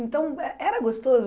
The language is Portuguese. Então, eh era gostoso?